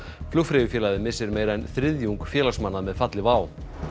flugfreyjufélagið missir meira en þriðjung félagsmanna með falli WOW